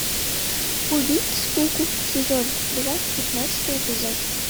убить скуку сезон два пятнадцатый эпизод